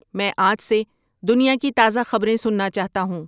میں آج سے دنیا کی تازہ خبریں سننا چاہتا ہوں